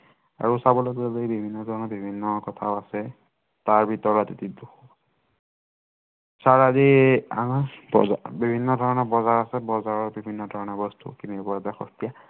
আৰু চাবলৈ গলে বিভিন্ন কথাও আছে, তাৰ ভিতৰত এইটো চাৰ আজি, আঠ বজাৰ বিভিন্ন ধৰনৰ বজাৰ আছে বজাৰত বিভিন্ন ধৰনৰ বস্তু কিনিব পৰা যায় সস্তীয়া